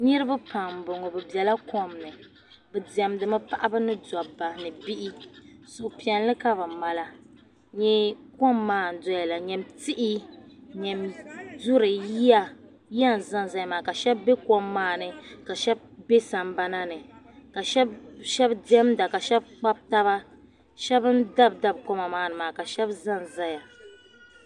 Niribi pam n bɔŋɔ bibela kom ni bidemdimi paɣib ni dabba ni bihi suhupiɛli kabimala n nyɛ kom maa ndoyala. nyam tihi. nyami duri yiya, yiya n zan zaya maa kashab be kom maa ni kashab be sam bana ni kashab demda kashab Kpab taba. shab n dabi dab kom maa ni maa ka shab zan zaya.